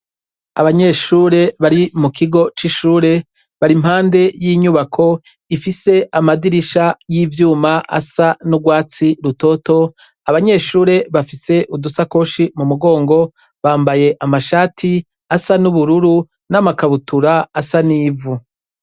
Abanyeshure bari mukigo cishure bari impande yinyubako ifise amadirisha yivyuma asa nurwatsi rutoto abanyeshure bafise udusakoshi mumugongo bambaye amashati asa nubururu n'amakabutura asa nivu.